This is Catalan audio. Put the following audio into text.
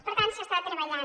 per tant s’està treballant